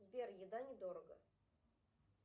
сбер еда недорого